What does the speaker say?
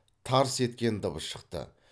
тарс еткен дыбыс шықты